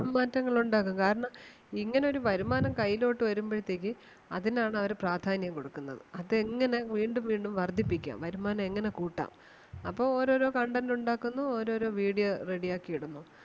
മാറ്റങ്ങൾ ഉണ്ടാക്കും കാരണം ഇങ്ങനെ ഒരു വരുമാനം കയ്യിലോട്ട് വരുമ്പഴത്തേക്ക് അതിന് ആണ് അവര് പ്രാധാന്യം കൊടുക്കുന്നത്. അത് എങ്ങനെ വീണ്ടും വീണ്ടും വർദ്ധിപ്പിക്കാം വരുമാനം എങ്ങനെ കൂട്ടാം അപ്പം ഓരോരോ content ഉണ്ടാക്കുന്നു ഓരോരോ video ready ആക്കി ഇടുന്നു.